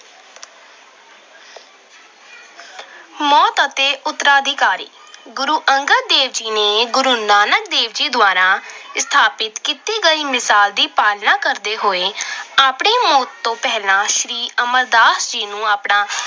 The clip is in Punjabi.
ਮੌਤ ਅਤੇ ਉਤਰਾਧਿਕਾਰੀ- ਗੁਰੂ ਅੰਗਦ ਦੇਵ ਜੀ ਨੇ ਗੁਰੂ ਨਾਨਕ ਦੇਵ ਜੀ ਦੁਆਰਾ ਸਥਾਪਤ ਕੀਤੀ ਗਈ ਮਿਸਾਲ ਦੀ ਪਾਲਣਾ ਕਰਦੇ ਹੋਏ ਆਪਣੀ ਮੌਤ ਤੋਂ ਪਹਿਲਾਂ ਸ਼੍ਰੀ ਅਮਰਦਾਸ ਜੀ ਨੂੰ ਆਪਣਾ